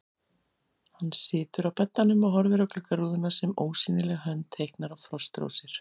Hann situr á beddanum og horfir á gluggarúðuna sem ósýnileg hönd teiknar á frostrósir.